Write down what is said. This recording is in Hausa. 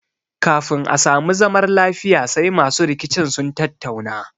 Kafin a sami zamar lafiya sai masu rikicin sun tattauna